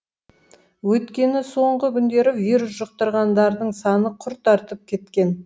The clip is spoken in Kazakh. өйткені соңғы күндері вирус жұқтырғандардың саны күрт артып кеткен